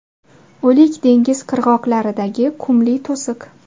O‘lik dengiz qirg‘oqlaridagi qumli to‘siq.